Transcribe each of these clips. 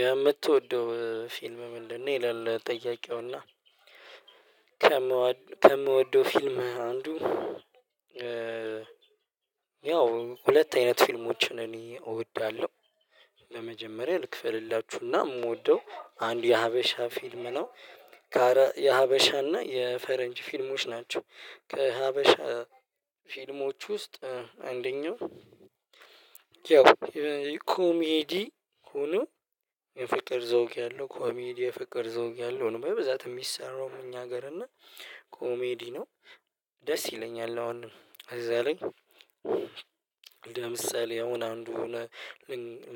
የምትወደው ፊልም ምንድነው? ይላል ጥያቄውና ከምወ ከምወደው ፊልም አንዱ። ያው ሁለት አይነት ፊልሞችን እኔ እወድዳለሁ። ለመጀመሪያ ልክፈልላችሁና የምወደው አንዱ የሀበሻ ፊልም ነው። የሀበሻና የፈረንጅ ፊልሞች ናቸው። ከሀበሻ ፊልሞች ውስጥ አንደኛው። ኮሜዲ ሁኖ የፍቅር ዘውግ ያለው ኮሜዲ የፍቅር ዘውግ ያለው ነው በብዛት የሚሰራው እኛ ሀገር እና ኮሜዲ ነው። ደስ ይለኛል አሁን እዛ ላይ። ለምሳሌ አሁን አንዱ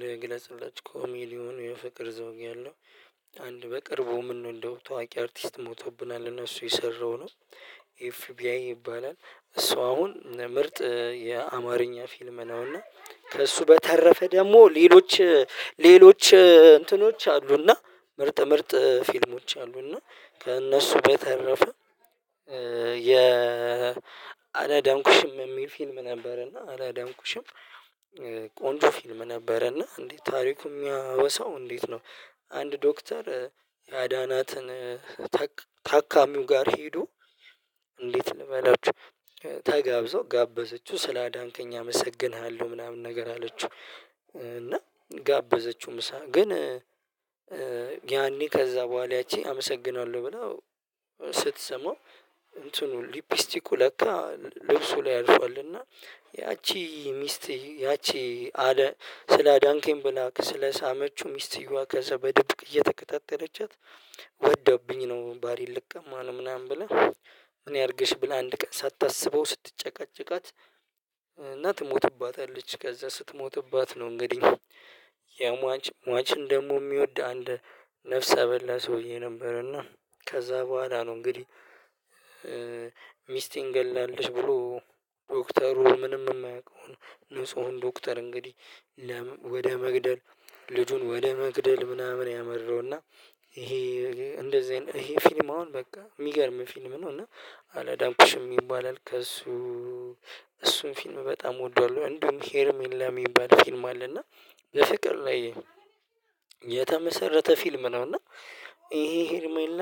ልግለጽላችሁ ኮሜዲ የፍቅር ዘውግ ያለው ነው አንድ በቅርቡ ምንወደው ታዋቂ አርቲስት ሞቶብናል እና እሱ የሰራው ነው። ኤፍቢአይ ይባላል እሷ አሁን ምርጥ የአማርኛ ፊልም ነው። እና ከእሱ በተረፈ ደግሞ ሌሎች ሌሎች እንትኖች አሉና ምርጥ ምርጥ ፊልሞች አሉና እና ከእነሱ በተረፈ። አላዳንኩሽም የሚል ፊልም ነበር እና አላዳንኩሽም ቆንጆ ፊልም ነበረ እና እንዴት ታሪኩ የሚያወሳው እንዴት ነው? አንድ ዶክተር ያዳናትን ታካሚው ጋር ሄዶ እንዴት ልበላችሁ ተጋብዞ ጋበዘችው ስላዳንከኝ አመሰግንሃለሁ ምናምን ነገር አለችው። እና ጋበዘችው ምሳ ግን ጊያኔ ከዛ በኋላ ያቺ አመሰግናለሁ ብላው ስትስመው እንትኑ ሊፕስቲኩ ለካ ልብሱ ላይ አርፏል። እና ያቺ ሚስት ያቺ አለ ስላዳንከኝ ብላ ስለሳመችው ሚስትየዋ ከዛ በድብቅ እየተከታተለችት ወደውብኝ ነው ባሌን ልቀማ ነው ምናምን ብላ። ምን ያድርግሽ ብላ አንድ ቀን ሳታስበው ስትጨቃጨቃት እና ትሞትባታለች። ከዛ ስትሞትባት ነው እንግዲህ የሟች ሟችን ደግሞ የሚወድ አንድ ነፍሰ በላ ሰውዬ ነበር። እና ከዛ በኋላ ነው እንግዲህ ሚስቴን ገላለች ብሎ ዶክተሩ ምንም የማያውቀውን ንጹህን ዶክተር እንግዲህ ወደ መግደል ልጁን ወደ መግደል ምናምን ያመራውና። ይሄ እንደዚህ አይነት ይሄ ፊልም አሁን በቃ የሚገርም ፊልም ነው። እና አላዳንኩሽም ይባላል ከእሱ እሱን ፊልም በጣም እወደዋለሁ። እንደውም ሄርሜላ የሚባል ፊልም አለ እና በፍቅር ላይ የተመሰረተ ፊልም ነው። እና ይሄ ሄርሜላ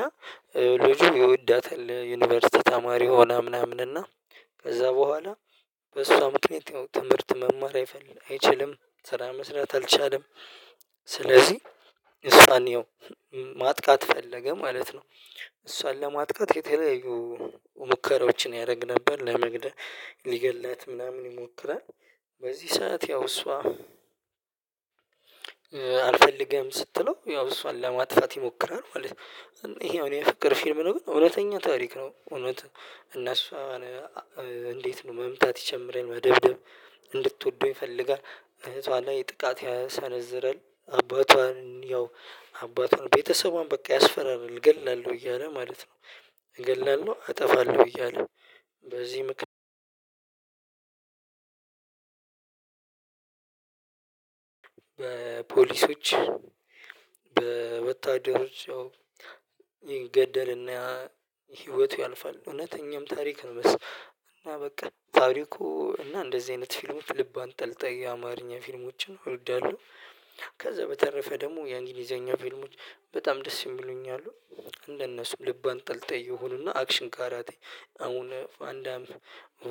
ልጁ ይወዳታል ዩኒቨርሲቲ ተማሪ ሆና ምናምን እና ከዛ በኋላ በሷ ምክንያት ትምህርት መማር አይፈልግ አይችልም። ስራ መስራት አልቻለም ስለዚህ እሷን ያው ማጥቃት ፈለገ ማለት ነው። እሷን ለማጥቃት የተለያዩ ሙከራዎችን ያደርግ ነበር ለመግደል ሊገድላት ምናምን ይሞክራል። በዚህ ሰዓት ያው እሷ አልፈልገም ስትለው ያው እሷን ለማጥፋት ይሞክራል ማለት ነው። ይሄ አሁን የፍቅር ፊልም ነው ግን እውነተኛ ታሪክ ነው። እውነት እነሱ እንዴት ነው መምታት ይጀምራል መደብደብ እንድትወደው ይፈልጋል እህቷ ላይ ጥቃት ያሰነዝራል አባቷን ያው አባቷን ቤተሰቧን በቃ ያስፈራራል እገላለሁ እያለ ማለት ነው። ገልላለሁ አጠፋለሁ እያለ በዚህ ምክንያት በፖሊሶች በወታደሮች ይገደልና ህይወቱ ያልፋል። እውነተኛም ታሪክ እና በቃ ታሪኩ እና እንደዚህ አይነት ፊልሞች ልብ አንጠልጠይ አማርኛ ፊልሞችን እወዳለሁ። ከዛ በተረፈ ደግሞ የእንግሊዘኛ ፊልሞች በጣም ደስ የሚሉኝ አሉ እንደነሱ ልብ አንጠልጣይ የሆኑና አክሽን ጋራቴ አሁን ቫንዳም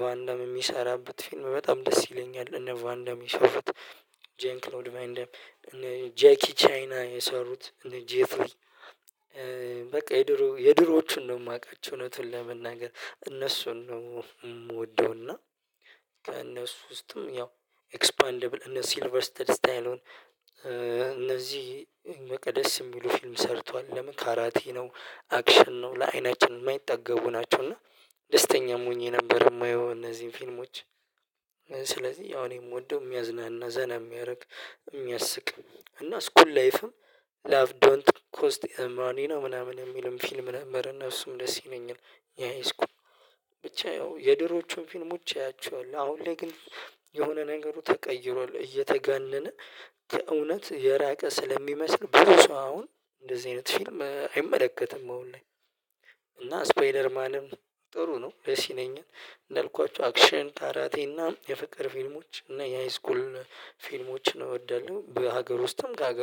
ቫንዳም የሚሰራበት ፊልም በጣም ደስ ይለኛል እነ ቫንዳም የሚሰሩት ጄን ክሎድ ቫንዳም። ጄኪ ቻይና የሰሩት እነ ጄፍሪ በቃ የድሮ የድሮዎቹን ነው የማውቃቸው እውነቱን ለመናገር እነሱን ነው የምወደውና። ከእነሱ ውስጥም ያው ኤክስፓንደብል እነ ሲልቨር ስተዲስታይል እነዚህ መቅደስ የሚሉ ፊልም ሰርቷል ለምን ካራቲ ነው አክሽን ነው ለአይናችን የማይጠገቡ ናቸው። እና ደስተኛም ሆኜ ነበር የማየው እነዚህን ፊልሞች። ስለዚህ አሁን የምወደው የሚያዝናና ዘና የሚያርቅ የሚያስቅ እና ስኩል ላይፍም ላቭ ዶንት ኮስት ኤ ሞኒ ነው ምናምን የሚለውን ፊልም ለመረነ ነፍሱም ደስ ይለኛል። የሀይስኩል ብቻ ያው የድሮቹን ፊልሞች አያቸዋለሁ አሁን ላይ ግን የሆነ ነገሩ ተቀይሯል። እየተጋነነ ከእውነት የራቀ ስለሚመስል ብዙ ሰው አሁን እንደዚህ አይነት ፊልም አይመለከትም አሁን ላይ። እና ስፓይደር ማንም ጥሩ ነው ደስ ይለኛል። እንዳልኳችሁ አክሽን ካራቴ እና የፍቅር ፊልሞች እና የሃይስኩል ፊልሞችን እወዳለሁ። በሀገር ውስጥም ከሀገር